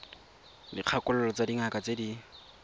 dikgakololo tsa dingaka tse di